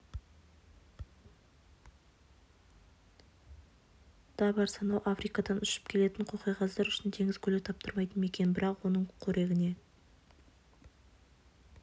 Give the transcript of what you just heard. да бар сонау африкадан ұшып келетін қоқиқаздар үшін теңіз көлі таптырмайтын мекен бірақ оның қорегіне